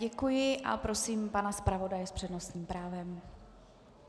Děkuji a prosím pana zpravodaje s přednostním právem.